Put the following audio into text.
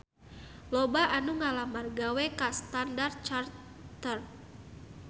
Loba anu ngalamar gawe ka Standard Chartered